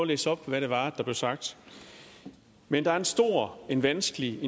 læse op hvad det var der blev sagt men der er en stor vanskelig